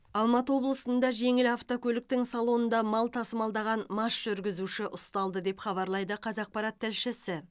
алматы облысында жеңіл автокөліктің салонында мал тасымалдаған мас жүргізуші ұсталды деп хабарлайды қазақпарат тілшісі